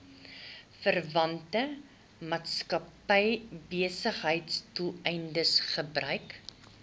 verwante maatskappybesigheidsdoeleindes gebruik